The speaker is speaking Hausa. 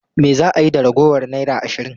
Me za a yi da ragowar naira ashirin?